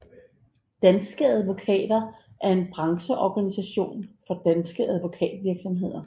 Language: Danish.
Danske Advokater er en brancheorganisation for danske advokatvirksomheder